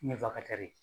Ɲɛfɛ